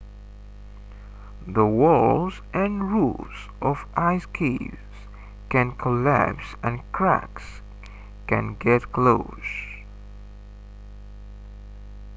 the walls and roofs of ice caves can collapse and cracks can get closed